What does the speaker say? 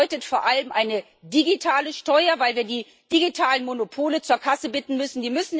Und das bedeutet vor allem eine digitale Steuer, weil wir die digitalen Monopole zur Kasse bitten müssen.